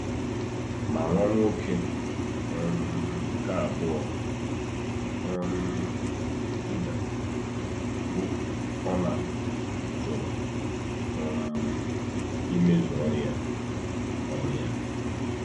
Ma nwa nwoke um nke abụọ um Juda, bụ́ Onan, jụrụ um imezu ọrụ ya. ọrụ ya.